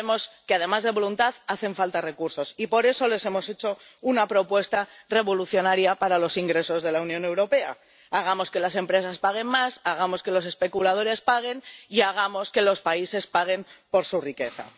Ya sabemos que, además de voluntad, hacen falta recursos, y por eso les hemos hecho una propuesta revolucionaria para los ingresos de la Unión Europea hagamos que las empresas paguen más, hagamos que los especuladores paguen y hagamos que los países paguen por su riqueza.